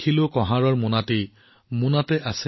আমাৰ পুতলাই কুমাৰক সুধিলে